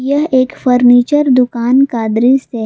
यह एक फर्नीचर दुकान का दृश्य--